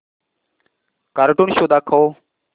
cartoon show दाखव